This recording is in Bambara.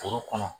Foro kɔnɔ